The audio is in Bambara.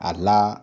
A la